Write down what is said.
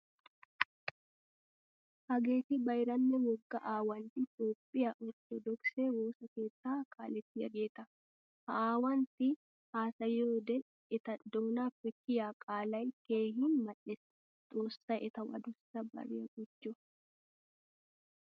Hageeti bayranne wogga aawantti toophphiya orttodokise woosa keetta kaalettiyagetta. Ha aawantti haasayiyode eta doonappe kiyiya qaalay keehin mal'ees. Xoossay etawu aduussa bariyaa gujjo.